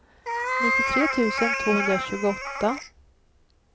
nittiotre tusen tvåhundratjugoåtta